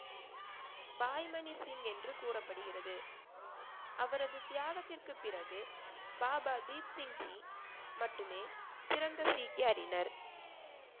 பாய்மணி சிங் என்று கூறப்படுகிறது அவரது தியாகத்திற்குப் பிறகு பாபா தீப்சிங் ஜி மட்டுமே சிறந்த சீக்கியாறினர்